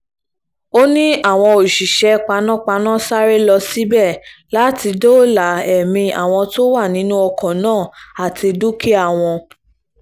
ó ní àwọn òṣìṣẹ́ panápaná sáré lọ síbẹ̀ láti dóòlà ẹ̀mí àwọn tó wà nínú ọkọ̀ náà àti dúkìá wọn